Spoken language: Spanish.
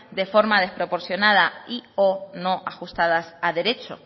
de forma desproporcionada y o no ajustadas a derecho